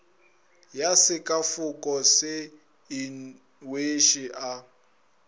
ya sekafoko se inweše a